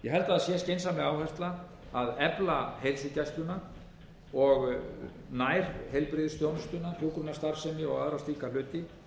okkur leggst ég held að það sé skynsamleg áhersla að efla heilsugæsluna og nærheilbrigðisþjónustuna hjúkrunarstarfsemi og aðra slíka hluti